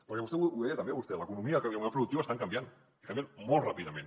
perquè ho deia també vostè l’economia i el model productiu estan canviant i canvien molt ràpidament